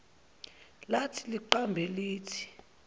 lathi liqambe lithi